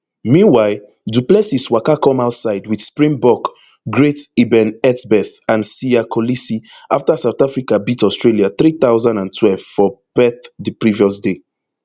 meanwhile du plessis waka come outside wit springbok greats eben etzebeth and siya kolisi afta south africa beat australia three thousand and twelve for perth di previous day